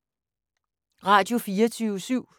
Radio24syv